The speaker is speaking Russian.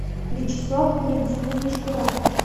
вячеслав валентинович куратов